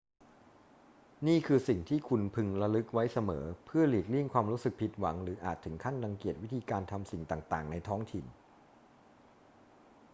นี่คือสิ่งที่คุณพึงระลึกไว้เสมอเพื่อหลีกเลี่ยงความรู้สึกผิดหวังหรืออาจถึงขั้นรังเกียจวิธีการทำสิ่งต่าง ๆ ในท้องถิ่น